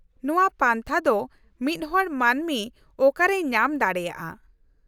-ᱱᱚᱶᱟ ᱯᱟᱱᱛᱷᱟ ᱫᱚ ᱢᱤᱫ ᱦᱚᱲ ᱢᱟᱹᱱᱢᱤ ᱚᱠᱟᱨᱮᱭ ᱧᱟᱢ ᱫᱟᱲᱮᱭᱟᱜᱼᱟ ?